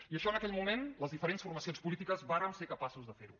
i això en aquell moment les diferents formacions polítiques vàrem ser capaços de fer ho